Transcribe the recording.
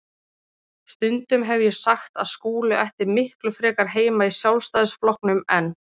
Stundum hef ég sagt að Skúli ætti miklu frekar heima í Sjálfstæðisflokknum en